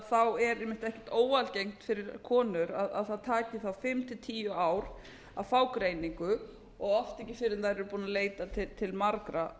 þá er ekkert óalgengt fyrir konur að það taki þær fimm til tíu ár að fá greiningu og oft ekki fyrr en þær eru búnar að leita til margra